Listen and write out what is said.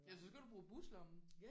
Ellers så skal du bruge buslommen